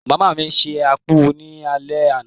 ìyá mi se akpu ní alé àná.